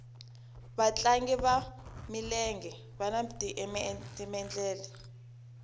vatlangi vanwa milenge vani timendlele